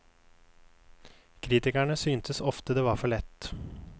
Kritikerne syntes ofte det var for lett.